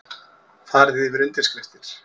Farið yfir undirskriftir